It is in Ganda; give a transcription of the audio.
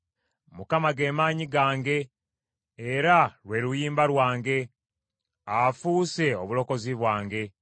Mukama ge maanyi gange, era lwe luyimba lwange, afuuse obulokozi bwange.